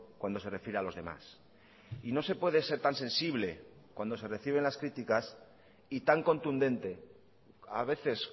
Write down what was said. cuando se refiere a los demás y no se puede ser tan sensible cuando se reciben las críticas y tan contundente a veces